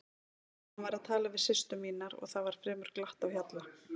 Hann var að tala við systur mínar og það var fremur glatt á hjalla.